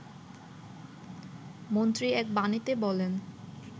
মন্ত্রী এক বাণীতে বলেন